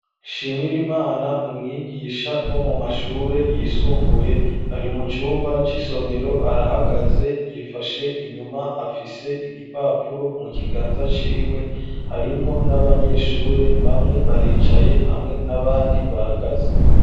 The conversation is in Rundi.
Shimirimana n'umwigisha wo mu mashure yisumbuye ari mu cumba c'isomero arahagaze yifashe inyuma afise igipapuro mu kiganza ciwe harimwo n'abanyeshure bamwe baricaye hamwe n'abandi bahagaze.